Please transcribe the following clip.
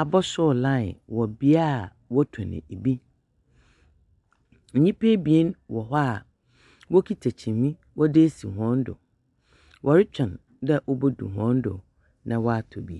abɛsoɔ laen wɔ bia wɔ tɔn ɛbi. Nipa ebien wɔ hɔ a kuta kyiniiɛ wɔ de esi wɔn do. Wɔre twɛn dɛ ɔbe do wɔn do na wɔ tɔ bi.